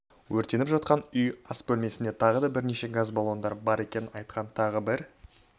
өртеніп жатқан ас үй бөлмесінде тағы да бірнеше газ баллондар бар екенін айтқан тағы бір